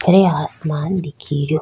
अरे आसमान दिख रियो।